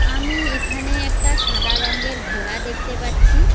আমি এখানে একটা সাদা রঙ্গের ঘোড়া দেখতে পাচ্ছি।